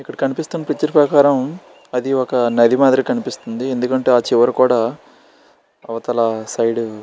ఇక్కడ కనిపిస్తుంది పిక్చర్ ప్రకారం అది ఒక నది మాత్రం కనిపిస్తుంది. ఎందుకంటే ఆ చివరి కూడా అవతల సైడ్ --